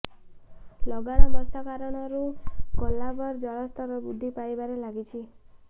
ଲଗାଣ ବର୍ଷା କାରଣରୁ କୋଲାବର ଜଳସ୍ତର ବୃଦ୍ଧି ପାଇବାରେ ଲାଗିଛି